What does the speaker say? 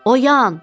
Oyan!